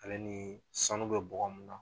Ale ni sanu bɛ bɔgɔ mun na